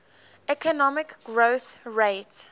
economic growth rate